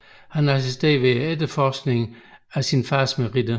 Han assisterede ved efterforskningen af sin faders meritter